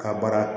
Ka baara